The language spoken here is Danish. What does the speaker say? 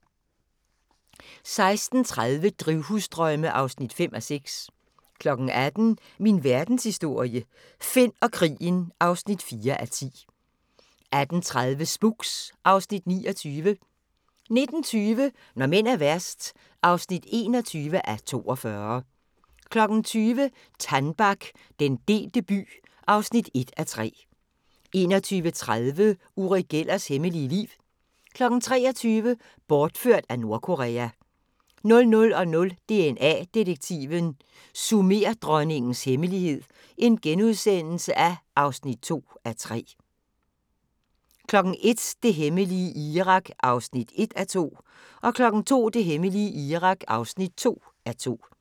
16:30: Drivhusdrømme (5:6) 18:00: Min Verdenshistorie – Finn og krigen (4:10) 18:30: Spooks (Afs. 29) 19:20: Når mænd er værst (21:42) 20:00: Tannbach - den delte by (1:3) 21:30: Uri Gellers hemmelige liv 23:00: Bortført af Nordkorea 00:00: DNA-detektiven – Sumerdronningens hemmelighed (2:3)* 01:00: Det hemmelige Irak (1:2) 02:00: Det hemmelige Irak (2:2)